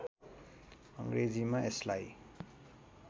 अङ्ग्रेजीमा यसलाई